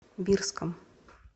бирском